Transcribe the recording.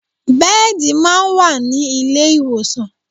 Bẹ́ẹ̀dì máa ń wà ilé ìwòsàn